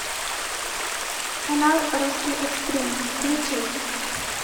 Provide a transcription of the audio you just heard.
канал русский экстрим включить